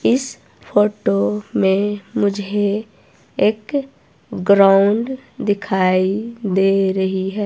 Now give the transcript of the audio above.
इस फोटो में मुझे एक ग्राउंड दिखाई दे रही है।